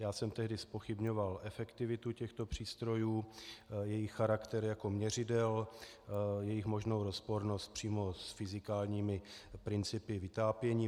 Já jsem tehdy zpochybňoval efektivitu těchto přístrojů, jejich charakter jako měřidel, jejich možnou rozpornost přímo s fyzikálními principy vytápění.